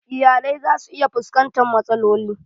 Iyalai za su iya fuskantan matsaloli